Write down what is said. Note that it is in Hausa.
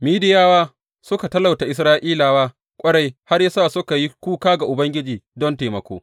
Midiyawa suka talauce Isra’ilawa ƙwarai, har ya sa suka yi kuka ga Ubangiji don taimako.